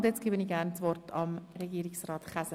– Nun übergebe ich gerne das Wort an Regierungsrat Käser.